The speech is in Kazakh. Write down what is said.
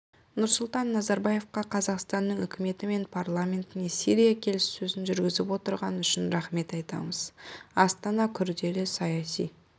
нұрсұлтан назарбаевқа қазақстанның үкіметі мен парламентіне сирия келіссөзін жүргізіп отырғаны үшін рахмет айтамыз астана күрделі саяси